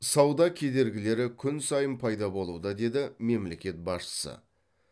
сауда кедергілері күн сайын пайда болуда деді мемлекет басшысы